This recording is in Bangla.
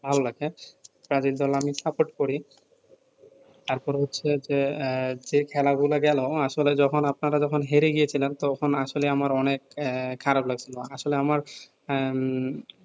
ভালো লাগে ব্রাজিল দল আমি support করি তার পরে হচ্ছে যে এহ যে খেলা গুলা গেলো আসলে যখন আপনারা যখন হেরে গিয়েছিলেন তখন আসলে আমার অনেক এ খারাপ লাগছিলো আসলে আমার আহ উম